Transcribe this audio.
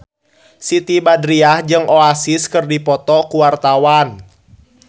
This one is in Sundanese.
Siti Badriah jeung Oasis keur dipoto ku wartawan